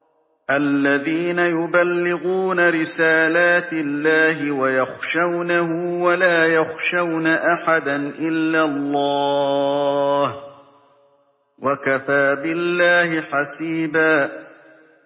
الَّذِينَ يُبَلِّغُونَ رِسَالَاتِ اللَّهِ وَيَخْشَوْنَهُ وَلَا يَخْشَوْنَ أَحَدًا إِلَّا اللَّهَ ۗ وَكَفَىٰ بِاللَّهِ حَسِيبًا